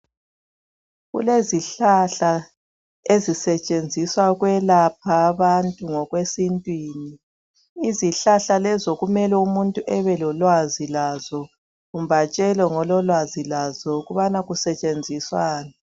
Kulezihlahla ezisetshenziswa ukwelapha abantu ngokwesintwini. Izihlahla lezo kumele umuntu ebelolwazi lazo kumbe atshelwe ngololwazi lazo ukubana kusetshenziswani